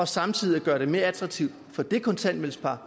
samtidig at gøre det mere økonomisk attraktivt for det kontanthjælpspar